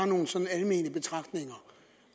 nogle sådan almene betragtninger